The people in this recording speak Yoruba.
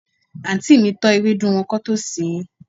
anti mi tọ́ ewédú wọn kán tó sèé.